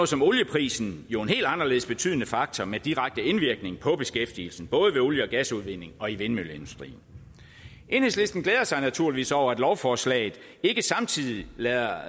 som olieprisen jo en helt anderledes betydende faktor med direkte indvirkning på beskæftigelsen både ved olie og gasudvinding og i vindmølleindustrien enhedslisten glæder sig naturligvis over at lovforslaget ikke samtidig lader